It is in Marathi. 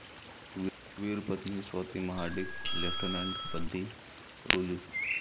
वीरपत्नी स्वाती महाडिक लेफ्टनंटपदी रुजू